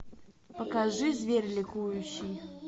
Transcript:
покажи зверь ликующий